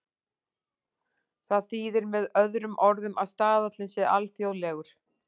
Það þýðir með öðrum orðum að staðallinn sé alþjóðlegur.